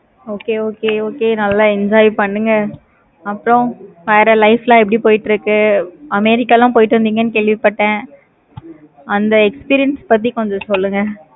okay okay okay நல்ல enjoy பண்ணுங்க. அப்பறம் வேற life லாம் எப்படி போய்கிட்டு இருக்கு. america லா போயிட்டு வந்திங்க கேள்விப்பட்டேன். அந்த experience பத்தி கொஞ்சம் சொல்லுங்க.